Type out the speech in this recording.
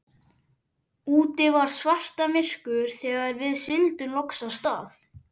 Úti var svartamyrkur þegar við sigldum loks af stað.